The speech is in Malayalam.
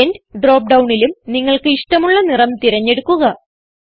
എൻഡ് ഡ്രോപ്പ് ഡൌണിലും നിങ്ങൾക്ക് ഇഷ്ടമുള്ള നിറം തിരഞ്ഞെടുക്കുക